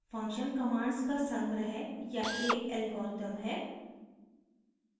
function commands का संग्रह या एक algorithm है